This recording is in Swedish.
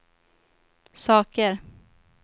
saker